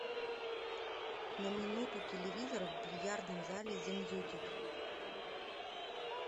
на минуту телевизор в бильярдном зале замьютить